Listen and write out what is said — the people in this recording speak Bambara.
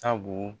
Sabu